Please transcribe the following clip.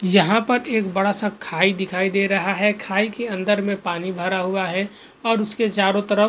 यहां पर एक बड़ा सा खाई दिखाई दे रहा है खाई के अंदर में पानी भरा हुआ है और उसके चारों तरफ़ --